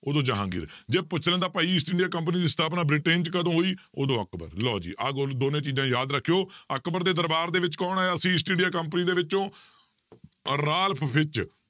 ਉਦੋਂ ਜਹਾਂਗੀਰ ਜੇ ਪੁੱਛ ਲੈਂਦਾ ਭਾਈ ਈਸਟ ਇੰਡੀਆ company ਦੀ ਸਥਾਪਨਾ ਬ੍ਰਿਟੇਨ 'ਚ ਕਦੋਂ ਹੋਈ ਉਦੋਂ ਅਕਬਰ ਲਓ ਜੀ ਆ ਦੋਨੇਂ ਚੀਜ਼ਾਂ ਯਾਦ ਰੱਖਿਓ ਅਕਬਰ ਦੇ ਦਰਬਾਰ ਦੇ ਵਿੱਚ ਕੌਣ ਆਇਆ ਸੀ ਈਸਟ ਇੰਡੀਆ company ਦੇ ਵਿੱਚੋਂ ਰਾਲਫ ਫਿਚ